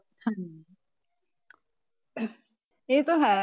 ਹਾਂਜੀ ਇਹ ਤਾਂ ਹੈ।